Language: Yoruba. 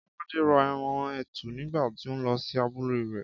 Kọ́ládé ra ẹran etu nígbà tí ó lọ sí abúlé rẹ̀